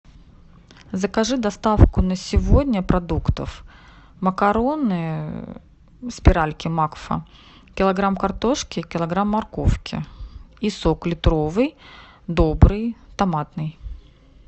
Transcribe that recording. закажи доставку на сегодня продуктов макароны спиральки макфа килограмм картошки килограмм морковки и сок литровый добрый томатный